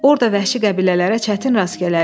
Orda vəhşi qəbilələrə çətin rast gələrik.